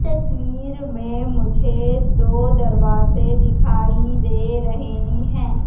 तस्वीर में मुझे दो दरवाजे दिखाई दे रहे हैं।